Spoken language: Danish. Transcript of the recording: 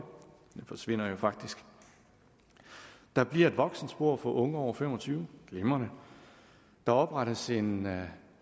den forsvinder jo faktisk der bliver et voksenspor for unge over fem og tyve glimrende der oprettes en